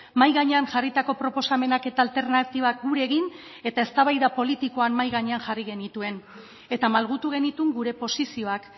mahai gainean jarritako proposamenak eta alternatibak gure egin eta eztabaida politikoan mahai gainean jarri genituen eta malgutu genituen gure posizioak